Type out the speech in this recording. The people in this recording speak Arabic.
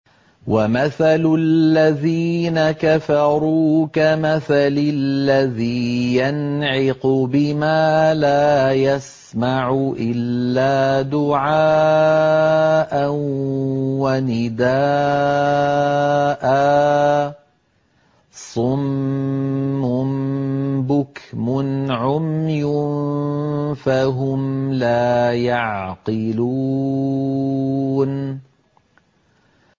وَمَثَلُ الَّذِينَ كَفَرُوا كَمَثَلِ الَّذِي يَنْعِقُ بِمَا لَا يَسْمَعُ إِلَّا دُعَاءً وَنِدَاءً ۚ صُمٌّ بُكْمٌ عُمْيٌ فَهُمْ لَا يَعْقِلُونَ